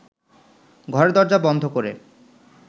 ঘরের দরজা বন্ধ করে